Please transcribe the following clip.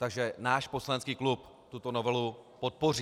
Takže náš poslanecký klub tuto novelu podpoří.